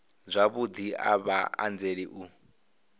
zwavhudi a vha anzeli u